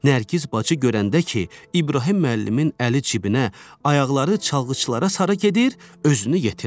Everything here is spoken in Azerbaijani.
Nərgiz bacı görəndə ki, İbrahim müəllimin əli cibinə, ayaqları çalğıçılara sarı gedir, özünü yetirdi.